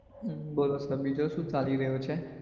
બોલો sir બીજું શું ચાલી રહ્યું છે?